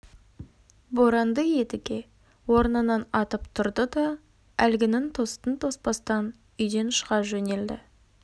боранды едіге орнынан атып тұрды да әлгінің тостын тоспастан үйден шыға жөнелді